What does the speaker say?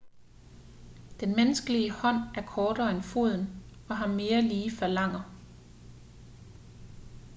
den menneskelige hånd er kortere end foden og har mere lige falanger